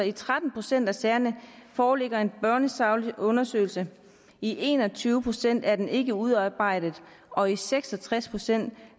i tretten procent af sagerne foreligger en børnesaglig undersøgelse i en og tyve procent er den ikke udarbejdet og i seks og tres procent